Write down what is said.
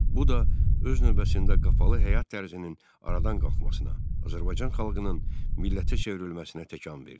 Bu da öz növbəsində qapalı həyat tərzinin aradan qalxmasına, Azərbaycan xalqının millətə çevrilməsinə təkan verdi.